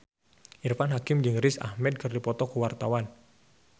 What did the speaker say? Irfan Hakim jeung Riz Ahmed keur dipoto ku wartawan